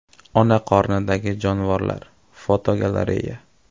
Ona qornidagi jonivorlar (fotogalereya).